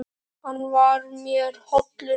Hann var mér hollur vinur.